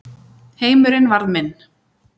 Heimurinn varð minn.